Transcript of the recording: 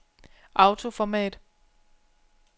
autoformat